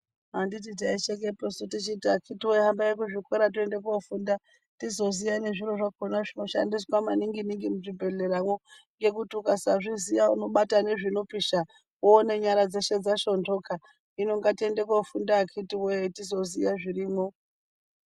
Handiti taishekeposu tichiti akhiti voye hambai kuzvikora tiende kofunda. Tizoziya nezviro zvakona zvinoshandiswa maningi-ningi muzvibhedhleramwo. Ngekuti ukasazviziya unobata nezvinopisha voone nyara dzeshe dzashondoka. Hino ngatiende kofunda akhiti voye tizoziya zvirimwo.